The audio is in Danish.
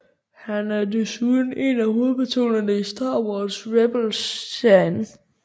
Han er desuden en af hovedpersonerne i Star Wars Rebels serien